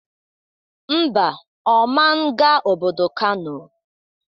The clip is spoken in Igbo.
Ḿbà, Ọ man ga obodo Kano